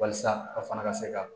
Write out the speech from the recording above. Walasa a fana ka se ka